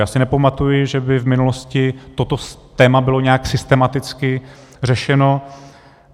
Já si nepamatuji, že by v minulosti toto téma bylo nějak systematicky řešeno.